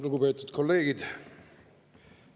Lugupeetud kolleegid!